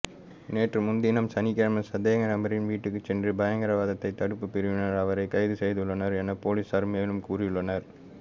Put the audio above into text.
நேற்றுமுன்தினம் சனிக்கிழமை சந்தேகநபரின் வீட்டுக்குச் சென்ற பயங்கரவாதத் தடுப்புப் பிரிவினர் அவரைக் கைதுசெய்துள்ளனர் எனப் பொலிஸார் மேலும் கூறியுள்ளனர்